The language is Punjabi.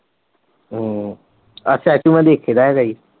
ਹਮ ਆਹ statue ਮੈਂ ਦੇਖੇ ਦਾ ਹੈਗਾ ਸੀ।